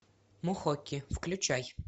мохоки включай